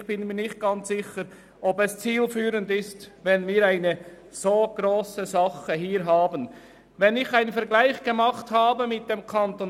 Ich bin mir nicht ganz sicher, ob es zielführend ist, dass dieser Bereich so gross ist.